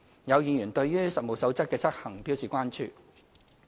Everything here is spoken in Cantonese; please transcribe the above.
有議員對於《職業介紹所實務守則》的執行表示關注。